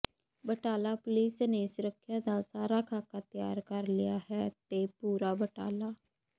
Batala police ਨੇ ਸੁਰੱਖਿਆ ਦਾ ਸਾਰਾ ਖਾਕਾ ਤਿਆਰ ਕਰ ਲਿਆ ਹੈ ਤੇ ਪੂਰੇ ਬਟਾਲਾ